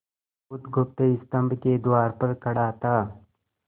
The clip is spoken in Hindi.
बुधगुप्त स्तंभ के द्वार पर खड़ा था